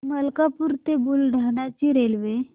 मलकापूर ते बुलढाणा ची रेल्वे